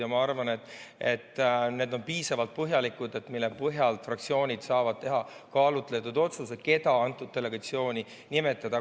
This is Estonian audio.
Ja ma arvan, et need on piisavalt põhjalikud, mille põhjalt fraktsioonid saavad teha kaalutletud otsuse, keda mingisse delegatsiooni nimetada.